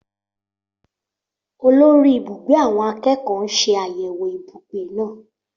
Olórí ibùgbé àwọn akẹ́kọ̀ọ́ ń ṣe àyẹ̀wò ibùgbé náà